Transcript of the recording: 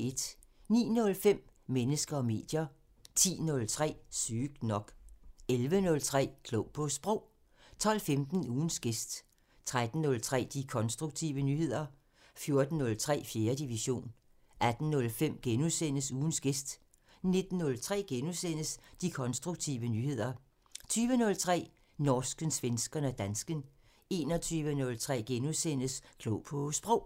09:05: Mennesker og medier 10:03: Sygt nok 11:03: Klog på Sprog 12:15: Ugens gæst 13:03: De konstruktive nyheder 14:03: 4. division 18:05: Ugens gæst * 19:03: De konstruktive nyheder * 20:03: Norsken, svensken og dansken 21:03: Klog på Sprog *